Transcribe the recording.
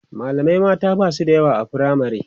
mallamai mata Basu da yawa a firamare